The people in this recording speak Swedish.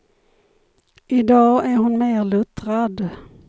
I dag är hon mer luttrad.